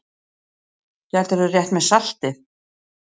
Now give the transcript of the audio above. Gætirðu rétt mér saltið?